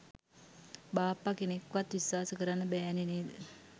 බාප්පා කෙනෙක්වත් විශ්වාස කරන්න බෑනේ නේද?